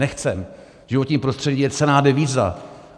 Nechceme, životní prostředí je cenná devíza.